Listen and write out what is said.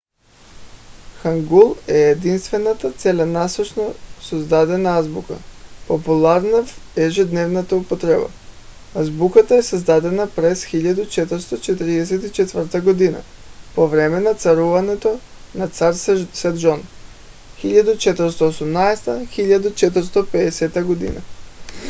хангул е единствената целенасочено създадена азбука популярна в ежедневната употреба. азбуката е създадена през 1444 г. по време на царуването на цар седжон 1418 г. – 1450 г.